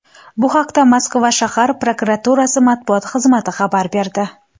Bu haqda Moskva shahar prokuraturasi matbuot xizmati xabar berdi .